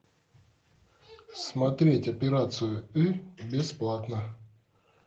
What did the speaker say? смотреть операцию ы бесплатно